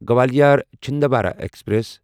Gwalior Chhindwara express